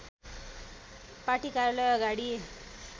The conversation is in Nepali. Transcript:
पार्टी कार्यालय अगाडि